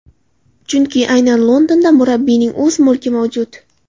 Chunki aynan Londonda murabbiyning o‘z mulki mavjud.